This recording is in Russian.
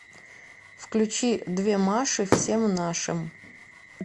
включи две маши всем нашим